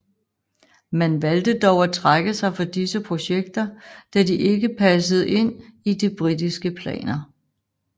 Man valgte dog at trække sig fra disse projekter da de ikke passede ind i de britiske planer